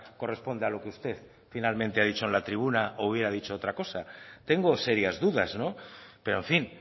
corresponde a lo que usted finalmente ha dicho en la tribuna o hubiera dicho otra cosa tengo serias dudas pero en fin